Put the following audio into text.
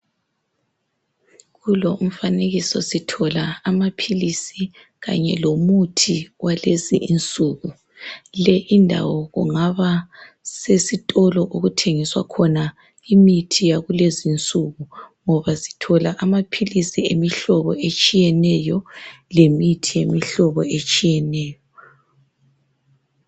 Kulo umfanekiso sithola amaphilisi kanye lomuthi walezi insuku le indawo kungaba sesitolo okuthengiswa khona imithi yalezi nsuku ngoba sithola amaphilisi emihlobo etshiyeneyo lemithi yemihlobo etshiyeneyo